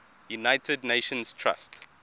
united nations trust